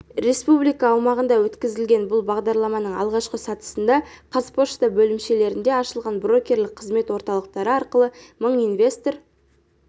республика аумағында өткізілетін бұл бағдарламаның алғашқы сатысында қазпошта бөлімшелерінде ашылған брокерлік қызмет орталықтары арқылы мың инвестор